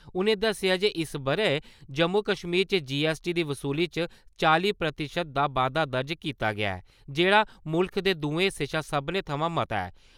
उ'नें दस्सेआ जे इस ब'रे जम्मू-कश्मीर च जीएसटी दी वसूली च चालीं प्रतिशत दा बाद्दा दर्ज कीता गेया ऐ , जेह्ड़ा मुल्ख दे दुएं हिस्सें शा सभनें थमां मता ऐ।